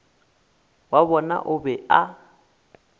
wa bona o be a